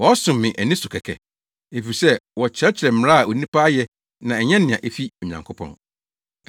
Wɔsom me ani so kɛkɛ, efisɛ wɔkyerɛkyerɛ mmara a onipa ayɛ na ɛnyɛ nea efi Onyankopɔn.’ ”